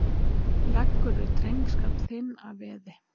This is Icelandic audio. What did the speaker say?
Leggurðu drengskap þinn að veði?